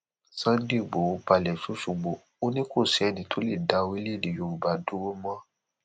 Sunday igboro balẹ sọsọgbó ò ní kò sẹni tó lè dá orílẹèdè yorùbá dúró mọ